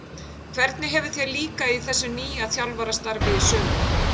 Hvernig hefur þér líkað í þessu nýja þjálfarastarfi í sumar?